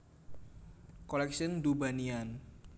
Collection du Banian